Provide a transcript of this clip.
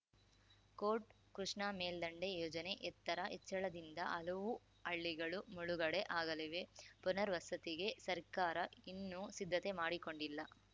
coat Krishna ಮೇಲ್ದಂಡೆ ಯೋಜನೆ ಎತ್ತರ ಹೆಚ್ಚಳದಿಂದ ಹಲವು ಹಳ್ಳಿಗಳು ಮುಳುಗಡೆ ಆಗಲಿವೆ ಪುನರ್‌ವಸತಿಗೆ ಸರ್ಕಾರ ಇನ್ನೂ ಸಿದ್ಧತೆ ಮಾಡಿಕೊಂಡಿಲ್ಲ